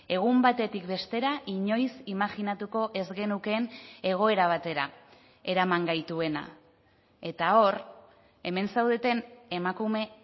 egun batetik bestera inoiz imajinatuko ez genukeen egoera batera eraman gaituena eta hor hemen zaudeten emakume